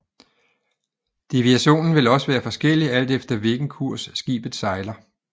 Deviationen vil også være forskellig alt efter hvilken kurs skibet sejler